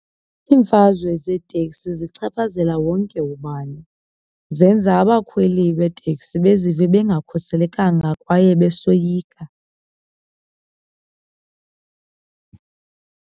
Iimfazwe zeeteksi zichaphazela wonke ubani. Zenza abakhweli beeteksi bezive bengakhuselekanga kwaye besoyika.